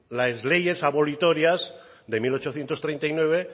las leyes abolitorias de mil ochocientos treinta y nueve